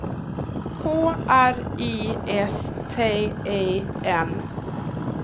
K R I S T E N